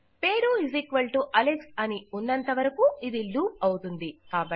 పేరుఅలెక్స్ అని ఉన్నంత వరకూ ఇది లూప్ అవుతుంది